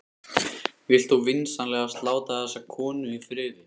Vilt þú vinsamlegast láta þessa konu í friði!